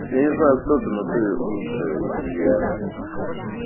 я не знаю кто ты но ты лучшая и